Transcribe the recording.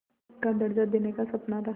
का दर्ज़ा देने का सपना था